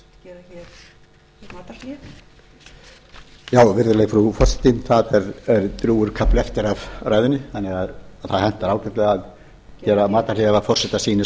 hér matarhlé já virðulega frú forseti það er drjúgur kafli eftir af ræðunni þannig að það hentar ágætlega að gera matarhlé ef forseta sýnist